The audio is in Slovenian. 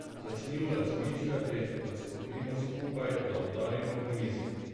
Začnimo razmišljati, da stopimo skupaj, da udarimo po mizi.